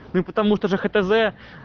ну потому что же хтз